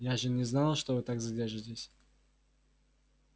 я же не знала что вы так задержитесь